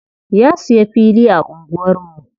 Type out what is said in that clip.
Ya siya fili a anguwar mu.